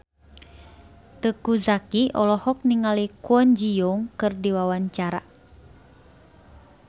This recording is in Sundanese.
Teuku Zacky olohok ningali Kwon Ji Yong keur diwawancara